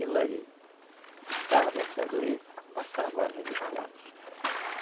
E lá ele botava mercadoria e passava a negociar.